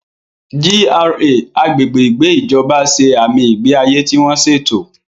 GRA (Agbègbè Ìgbé Ìjọba) ṣe àmì ìgbé ayé tí wọ́n ṣètò.